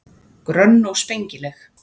Grönn og spengileg.